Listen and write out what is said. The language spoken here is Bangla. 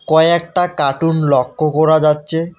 কয়েকটা কার্টুন লক্ষ্য করা যাচ্ছে।